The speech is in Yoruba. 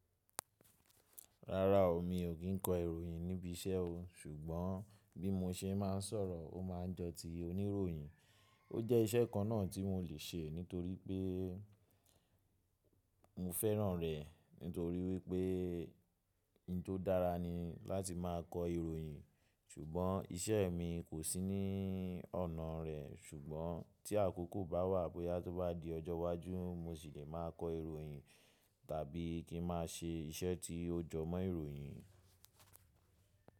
Ráráo, mi ò kí n kọ ìròyìn níbi iṣẹ́ o, ṣùgbọ́n bí mo ṣe máa ń sọ̀rọ̀, ó máa ń jọ̀tí oníròyìn. Ó jẹ́ iṣẹ́ kan náà tí mò lè ṣe nítorí pé mo fẹ́ràn rẹ̀ nítorí wípé ohun tó dára ni láti máa kọ ìròyìn. Ṣùgbọ́n iṣẹ́ mi kò sí ní ọ̀nà rẹ̀. Ṣùgbọ́n tí àkókò bá wà, bóyá tó bá di ọjọ́ iwájú mo sì le máa kọ ìròyìn tàbí kí n má ṣe iṣẹ́ tí ó jọ mọ́ ìròyìn.